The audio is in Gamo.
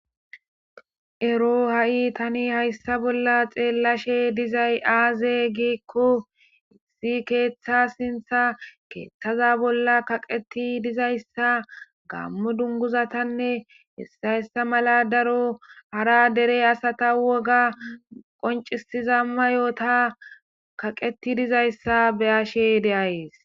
Ero ha'i tani hayssa bolla xeellashe dizay aaze giikko issi keeththa sintha keeththaza bolla kaqeti dizayssa gammo dunguzatanne hessayssa mala daro hara dere asata woga qoncisiza mayoota kaqeti dizayssa beyashe deayees